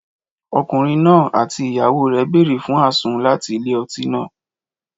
Ọkùnrin náà àti ìyàwó rẹ̀ bèrè fún àsun láti ilé-ọtí náà